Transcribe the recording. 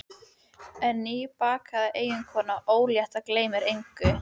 En nýbakaða eiginkonan ólétta gleymir engu.